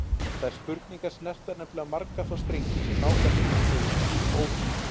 Þær spurningar snerta nefnilega marga þá strengi sem ná hvað lengst niður í djúp óvissunnar.